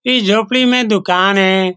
इस झोपड़ी में दुकान है।